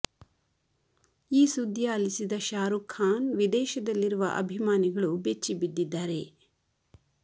ಈ ಸುದ್ದಿ ಆಲಿಸಿದ ಶಾರುಖ್ ಖಾನ್ ವಿದೇಶದಲ್ಲಿರುವ ಅಭಿಮಾನಿಗಳು ಬೆಚ್ಚಿ ಬಿದ್ದಿದ್ದಾರೆ